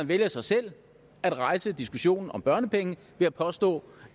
vælger så selv at rejse diskussionen om børnepenge ved at påstå